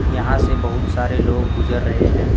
यहां से बहुत सारे लोग गुजर रहे हैं।